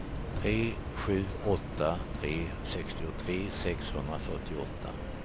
tre sju åtta tre sextiotre sexhundrafyrtioåtta